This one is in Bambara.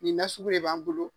Nin nasuku de b'an bolo.